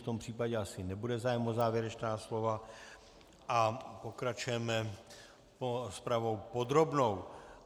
V tom případě asi nebude zájem o závěrečná slova a pokračujeme rozpravou podrobnou.